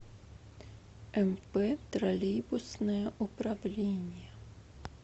мп троллейбусное управление